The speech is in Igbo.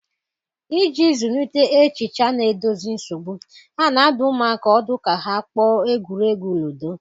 Iji zụlite echiche na-edozi nsogbu, a na-adụ ụmụaka ọdụ ka ha kpọọ egwuregwu ludo.